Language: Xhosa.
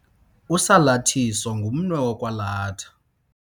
Usalathiso ngumnwe wokwalatha.